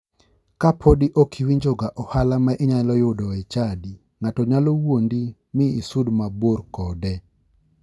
Kapodi ok iwinjoga ohala ma inyalo yudo e chadi, ng'ato nyalo wuondi mi isud mabor kode.